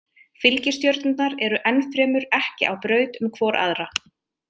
Fylgistjörnurnar eru ennfremur ekki á braut um hvor aðra.